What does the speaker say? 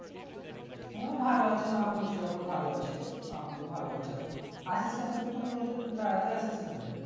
হম ভালো আছে মা বলছিলো আমার ভালো আছে আবু ও ভালো আছে এখন আসিস না কেনো তুই তো কোনোদিন বাড়িতেই আসিস না রে